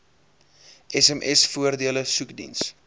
sms voordele soekdiens